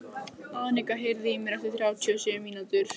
Arnika, heyrðu í mér eftir þrjátíu og sjö mínútur.